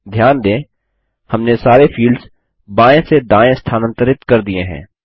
ध्यान दें हमने सारे फील्ड्स बायें से दायें स्थानांतरित कर दिये हैं